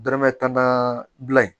Danaya tana bila ye